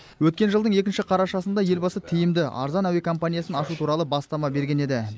өткен жылдың екінші қарашасында елбасы тиімді арзан әуе компаниясын ашу туралы бастама берген еді